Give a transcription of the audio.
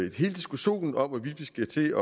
i hele diskussionen om hvorvidt vi skal til